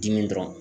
Dimi dɔrɔn